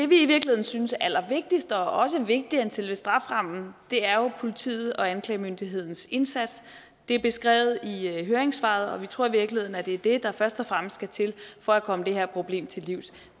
vi i virkeligheden synes er allervigtigst og også vigtigere end selve strafferammen er jo politiets og anklagemyndighedens indsats det er beskrevet i høringssvaret og vi tror i virkeligheden det er det der først og fremmest skal til for at komme det her problem til livs